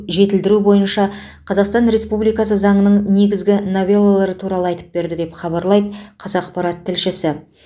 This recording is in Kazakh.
жетілдіру бойынша қазақстан республикасы заңының негізгі новеллалары туралы айтып берді деп хабарлайды қазақпарат тілшісі